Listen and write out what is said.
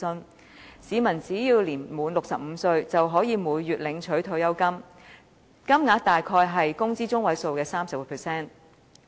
根據該計劃，市民只要年滿65歲，便可以每月領取退休金，金額大約是工資中位數的 30%。